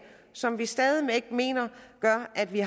som vi stadig væk mener gør at vi